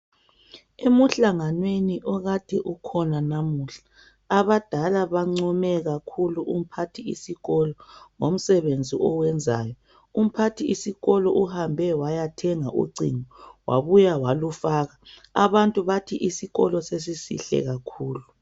Emhlanganweni okade ukhona namuhla abadala bancome kakhulu umphathisikolo ngomsebenzi awenzayo, umphathisikolo uhambe waya thenga ucingo wabuya walufaka abantu bathi isikolo sesisihle kakhulu.